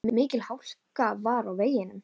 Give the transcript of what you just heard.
Mikil hálka var á veginum.